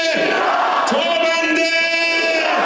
Tabənde İran!